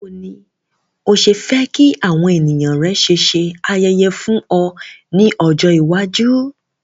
Bàwoni ni o se fe ki àwon èyàn rẹ ṣe se ayẹyẹ fún o ni ọjọ̀ iwájú.